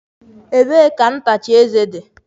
Ebee ka ntacha eze dị?